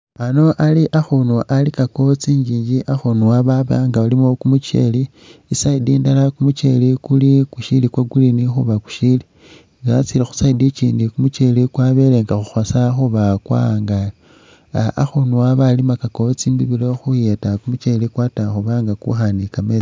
Ano ali akhunu alikakawo tsinjinji akhunu ano babanga balimakawo kumukyele i side inala kumukyele kushili kwa green khuba kushili nga watsile khu side ikyindi kumukyele kwabele nga kukhosa khuba kwaangale akhunu ano balimakawo tsinimilo khuyeta kumukyele kwata khuba nga kukha ni kametsi ta